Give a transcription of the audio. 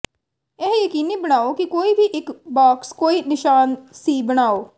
ਇਹ ਯਕੀਨੀ ਬਣਾਓ ਕਿ ਕੋਈ ਵੀ ਇੱਕ ਬਾਕਸ ਕੋਈ ਨਿਸ਼ਾਨ ਸੀ ਬਣਾਓ